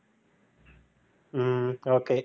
ஹம் okay